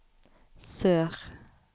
sør